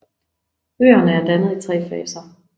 Øerne er dannet i tre faser